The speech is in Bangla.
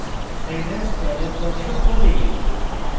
save as dialog box খোলে